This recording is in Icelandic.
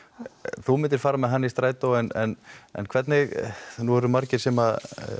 þú myndir fara með hana í strætó en en hvernig nú eru margir sem